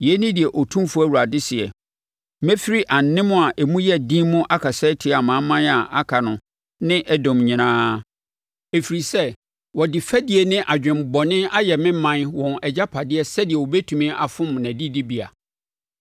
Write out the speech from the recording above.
Yei ne deɛ Otumfoɔ Awurade seɛ: Mefiri anem a emu yɛ den mu akasa atia amanaman a aka no ne Edom nyinaa, ɛfiri sɛ wɔde fɛdie ne adwemmɔne ayɛ me ɔman wɔn agyapadeɛ sɛdeɛ wɔbɛtumi afom nʼadidibea.’